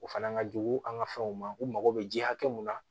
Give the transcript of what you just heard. O fana ka jugu an ka fɛnw ma u mago bɛ ji hakɛ min na